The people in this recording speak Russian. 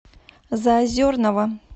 заозерного